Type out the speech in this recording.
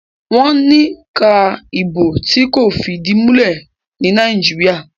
wón ni ká Ìbò tí kò fìdìmulẹ́ ní Nàìjíríà.